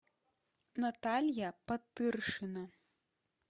наталья потыршина